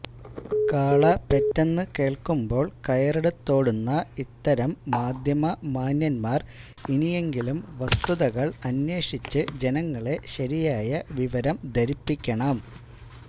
കാള പെറ്റെന്ന് കേള്ക്കുമ്പോള് കയറെടുത്തോടുന്ന ഇത്തരം മാധ്യമ മാന്യന്മാര് ഇനിയെങ്കിലും വസ്തുതകള് അന്വേഷിച്ച് ജനങ്ങളെ ശരിയായ വിവരം ധരിപ്പിക്കണം